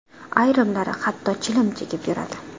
Ayrimlari hatto chilim chekib yuradi.